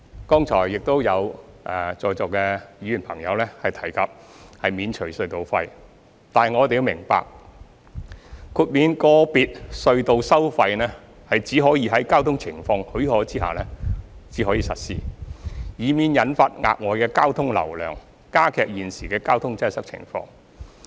剛才亦有在座議員朋友提及免除隧道費，但我們要明白，豁免個別隧道收費只可在交通情況許可下實施，以免引發額外的交通流量，加劇現時的交通擠塞情況。